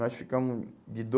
Nós ficamos... De